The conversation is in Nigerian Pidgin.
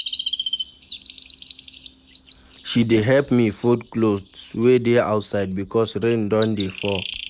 She dey help me fold clothes wey dey outside because rain don dey fall.